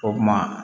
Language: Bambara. O kuma